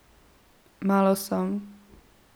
Malo sem.